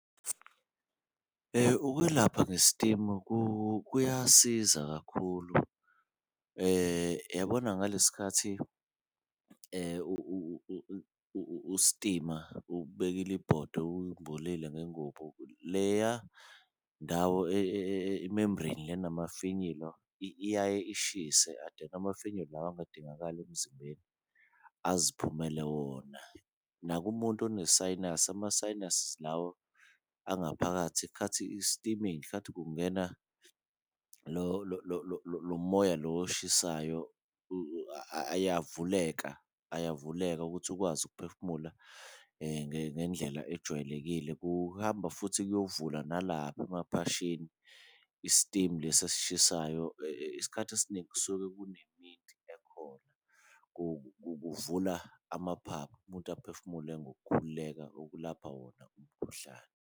Ukwelapha ngesitimu kuyasiza kakhulu uyabona ngalesi skhathi ustima ubekile ibhodwe umbulile ngengubo, leya ndawo i-membrane le enamafinyila iyaye ishise amafinyila lawa engadingakali emzimbeni aziphumele wona. Nakumuntu one-sinus ama-sinuses lawa angaphakathi khathi i-steaming khathi kungena lo moya lo oshisayo ayavuleka, ayavuleka ukuthi ukwazi ukuphefumula ngendlela ejwayelekile. Kuhamba futhi kuyovula nalapha emaphashini istimu lesi esishisayo isikhathi esiningi kusuke ekhona , kuvula amaphaphu umuntu aphefumule ngokukhululeka okulapha wona umkhuhlane.